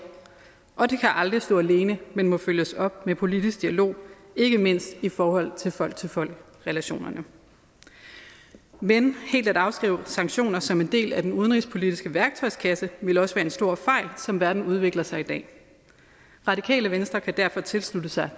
og de kan aldrig stå alene men må følges op af politisk dialog ikke mindst i forhold til folk til folk relationerne men helt at afskrive sanktioner som en del af den udenrigspolitiske værktøjskasse ville også være en stor fejl som verden udvikler sig i dag radikale venstre kan derfor tilslutte sig